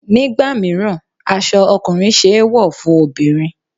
Nígbà míràn, aṣọ ọkùnrin ṣe é wọ̀ fún obìnrin.